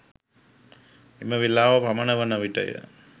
එම වෙලාව පමණ වන විටය